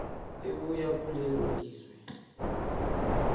ebuya kulelo lizwe